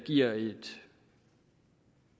giver